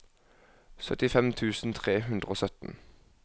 syttifem tusen tre hundre og sytten